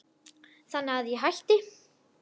Þannig að ég hætti.